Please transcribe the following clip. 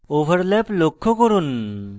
overlap লক্ষ্য করুন